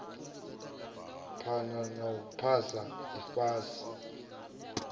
phana na u fhaa ifhasi